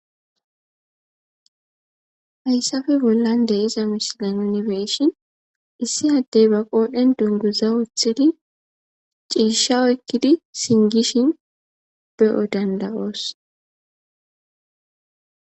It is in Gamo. hayssafe bollan de'iza misile nuni be'ishin issi addey ba qooden dunguza oothidi ciisha oykkidi singishin be7o dandawoos